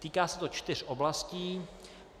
Týká se to čtyř oblastí.